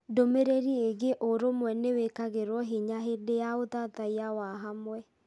Ndũmĩrĩri ĩgiĩ ũrũmwe nĩ wĩkagĩrũo hinya hĩndĩ ya ũthathaiya wa hamwe.